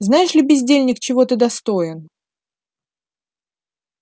знаешь ли бездельник чего ты достоин